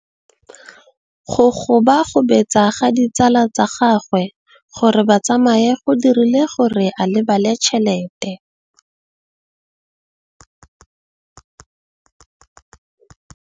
Go gobagobetsa ga ditsala tsa gagwe, gore ba tsamaye go dirile gore a lebale tšhelete.